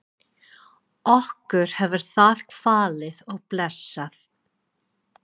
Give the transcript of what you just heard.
Okkur hefur það kvalið og blessað.